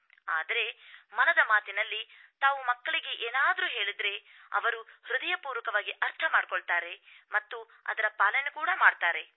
ಆದರೆ ಮನದ ಮಾತಿನಲ್ಲಿ ತಾವು ಮಕ್ಕಳಿಗೆ ಏನಾದರೂ ಹೇಳಿದರೆ ಅವರು ಹೃದಯಪೂರ್ವಕವಾಗಿ ಅರ್ಥಮಾಡಿಕೊಳ್ತಾರೆ ಮತ್ತು ಅದರ ಪಾಲನೆ ಕೂಡ ಮಾಡ್ತಾರೆ